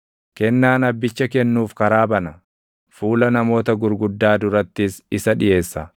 Kennaan abbicha kennuuf karaa bana; fuula namoota gurguddaa durattis isa dhiʼeessa.